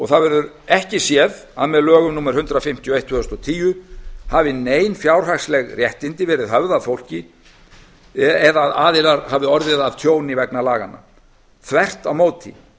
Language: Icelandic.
það verður ekki séð að með lögum númer hundrað fimmtíu og eitt tvö þúsund og tíu hafi nein fjárhagsleg réttindi verið höfð af fólki eða að aðilar hafi orðið fyrir tjóni vegna laganna þvert á móti